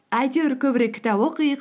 әйтеуір көбірек кітап оқиық